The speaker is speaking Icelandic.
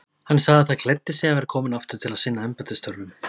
Hann sagði það gleddi sig að vera kominn aftur til að sinna embættisstörfum.